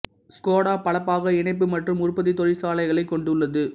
Skoda பல பாக இணைப்பு மற்றும் உற்பத்தி தொழிற்சாலைகளைக் கொண்டுள்ளது